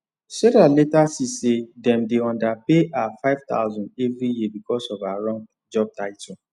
sarah later see say dem dey underpay her 5000 every year because of wrong job title